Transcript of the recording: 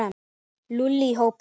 Lúlli í hópinn.